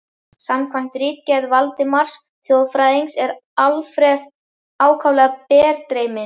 Samkvæmt ritgerð Valdimars þjóðfræðings er Alfreð ákaflega berdreyminn.